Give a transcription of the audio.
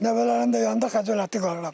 Nəvələrin də yanında xəcalətli qalıram.